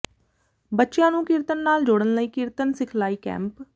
ਬੱਚਿਆਂ ਨੂੰ ਕੀਰਤਨ ਨਾਲ ਜੋੜਨ ਲਈ ਕੀਰਤਨ ਸਿਖਲਾਈ ਕੈਂਪ